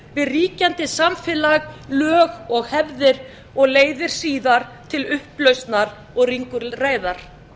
við ríkjandi samfélag lög og hefðir og leiðir síðar til upplausnar og ringulreiðar